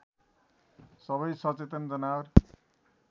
सबै सचेतन जनावर